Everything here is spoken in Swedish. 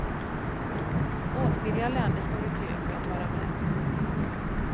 Åtskilliga länder står i kö för att vara med.